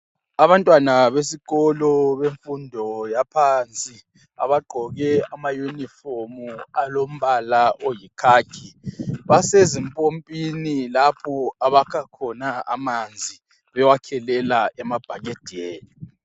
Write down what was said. Abantwana besikolo bemfundo yaphansi abagqoke ama uniform alombala oyikhakhi basezimpompini lapho abakha khona amanzi bewakhelela emabhakedeni